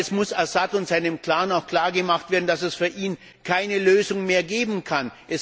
Aber es muss Assad und seinem Clan auch klargemacht werden, dass es für ihn keine Lösung mehr geben kann.